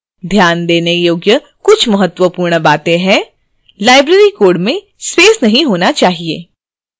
ध्यान देने योग्य कुछ महत्वपूर्ण बातें हैंlibrary code में space नहीं होना चाहिए